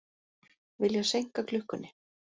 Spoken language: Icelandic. Vilja seinka klukkunni